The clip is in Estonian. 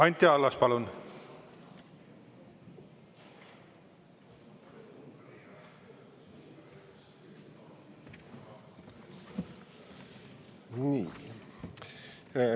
Anti Allas, palun!